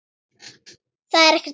Það er ekkert að.